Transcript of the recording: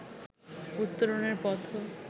উত্তরণের পথও